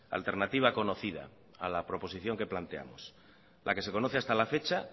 alternativa conocida a la proposición que planteamos la que se conoce hasta la fecha